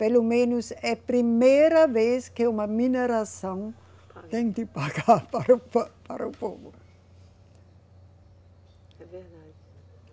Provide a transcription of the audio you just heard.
Pelo menos é primeira vez que uma mineração tem de pagar para o po, para o povo. É verdade